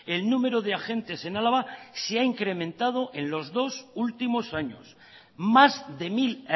el número de agentes en álava se ha incrementado en los dos últimos años más de mil